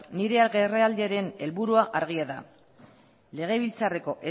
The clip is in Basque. agerraldiaren helburua argia da legebiltzarreko